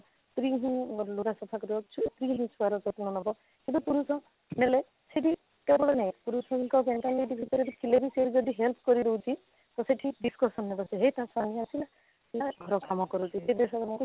ସ୍ତ୍ରୀ ହିଁ ଲୋଗ ସଫା କରି ଆସୁଛି ସ୍ତ୍ରୀ ହିଁ ଛୁଆର ଯତ୍ନ ନେବ କିନ୍ତୁ ପୁରୁଷ ନେଲେ ସେଠି କେବଳ ନାରୀ ପୁରୁଷଙ୍କ mentality ଭିତରେ ଥିଲେ ବି ସେ ଯଦି help କରି ଦେଉଛି ତ ସେଠି discussion ହେଇ ଯାଉଛି ହେଇ ତାଙ୍କ ପାହାଣା ଆସିଲା ସେ ଘର କାମ କରୁଛି ସେ ଦେଶ ମାନଙ୍କୁ ସେ